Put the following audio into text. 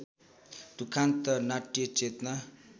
दुखान्त नाट्यचेतना